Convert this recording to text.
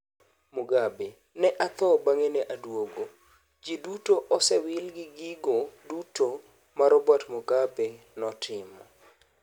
Mugabe: "Ne atho bang'e ne aduogo" Ji duto osewil gi gigo duto ma Robert Mugabe notimo.